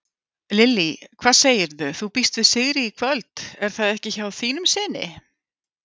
Lillý: Hvað segirðu, þú býst við sigri í kvöld er það ekki hjá þínum syni?